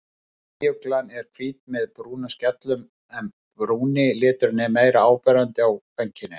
Snæuglan er hvít með brúnum skellum en brúni liturinn er meira áberandi á kvenkyninu.